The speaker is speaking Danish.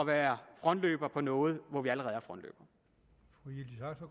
være frontløber på noget vi allerede